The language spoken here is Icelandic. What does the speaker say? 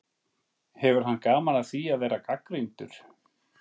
Hefur hann gaman af því að gera gagnrýndur?